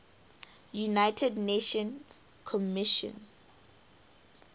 united nations commission